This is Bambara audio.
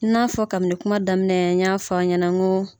I n'a fɔ kabini kuma daminɛ n y'a fɔ aw ɲɛnɛ n ko